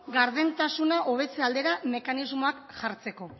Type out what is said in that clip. gardentasuna hobetze aldera mekanismoak jartzeko